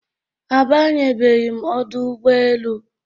Abanye beghi m Ọdụ ụgbọ elu